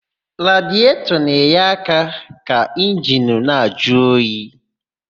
Radietọ na-enye aka ka injini na-ajụ oyi.